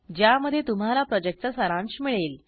ज्यामध्ये तुम्हाला प्रॉजेक्टचा सारांश मिळेल